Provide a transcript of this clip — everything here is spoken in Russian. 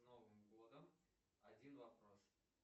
с новым годом один вопрос